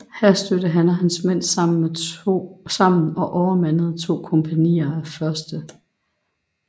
Her stødte han og hans mænd sammen med og overmandede to kompagnier af 1